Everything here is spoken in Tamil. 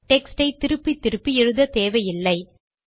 டெக்ஸ்ட் யை திருப்பி திருப்பி எழுத தேவையில்லை